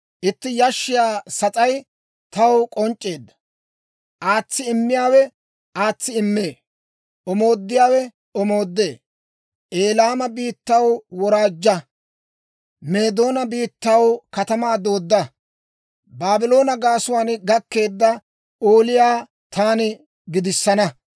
Itti yashshiyaa sas'ay taw k'onc'c'eedda. Aatsi immiyaawe aatsi immee; omoodiyaawe omoodee; Elaama biittaw, woraajja! Meedoona biittaw, katamaa doodda! Baabloone gaasuwaan gakkeedda ooliyaa taani gidissana.